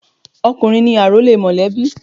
Ọkùnrin ni àrólé mọ̀lẹ́bí.